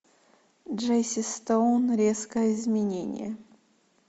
джесси стоун резкое изменение